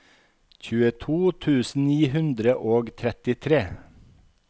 tjueto tusen ni hundre og trettitre